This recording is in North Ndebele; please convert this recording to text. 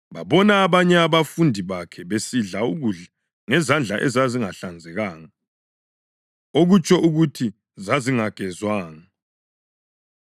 babona abanye abafundi bakhe besidla ukudla ngezandla ezazingahlanzekanga, okutsho ukuthi zazingagezwanga.